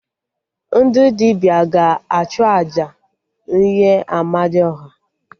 Ndị dibịa ga-achụ àjà nye Amadiọha